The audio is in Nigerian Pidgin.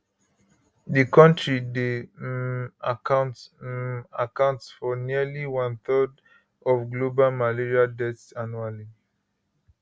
di kontri dey um account um account for nearly one third of global malaria deaths annually